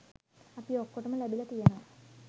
අපි ඔක්කොටම ලැබිලා තියෙනවා